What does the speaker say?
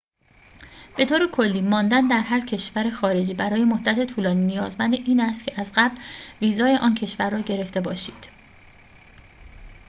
به طور کلی ماندن در هر کشور خارجی برای مدت طولانی نیازمند این است که از قبل ویزای آن کشور را گرفته باشید